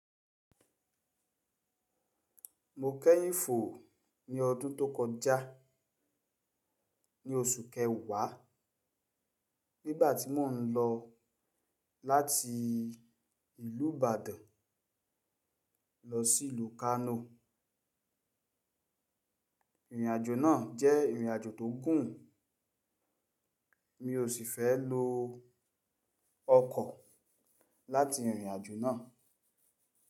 Mo kẹ́yìn fo ni ọdún tó kọjá, ní oṣù kẹwàá, nígbà tí mò ń lọ láti ìlú Ìbàdàn lọ sí ìlú Kano. Ìrìnàjò náà jẹ́ ìrìnàjò tó gùn, mi ò sì fẹ́ lo ọkọ̀ láti irìnàjò náà.